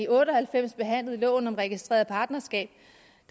otte og halvfems behandlede loven om registreret partnerskab